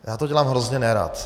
Já to dělám hrozně nerad.